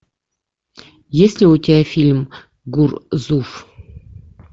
есть ли у тебя фильм гурзуф